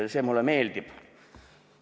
See mulle meeldib.